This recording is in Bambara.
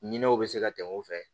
Ɲinɛw be se ka tɛmɛ u fɛ